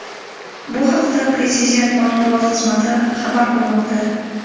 Bu haqda Prezident matbuot xizmati xabar qilmoqda .